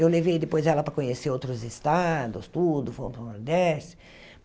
Eu levei depois ela para conhecer outros estados, tudo, Fomos para o Nordeste.